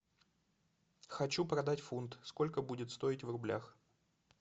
хочу продать фунт сколько будет стоить в рублях